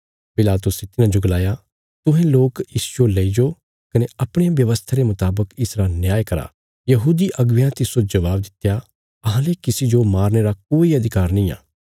पिलातुसे तिन्हांजो गलाया तुहें लोक इसजो लईजो कने अपणिया व्यवस्था रे मुतावक इसरा न्याय करा यहूदी अगुवेयां तिस्सो जबाब दित्या अहांले किसी जो मारने रा कोई अधिकार नींआ